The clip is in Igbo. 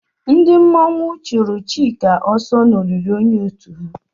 Ndị mmọnwụ chụrụ Chika ọsọ n'olili onye otu ha